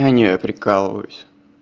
а нет я прикалываюсь